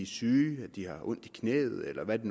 syge at de har ondt i knæet eller hvad det